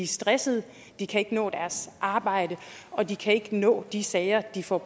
stressede de kan ikke nå deres arbejde og de kan ikke nå de sager de får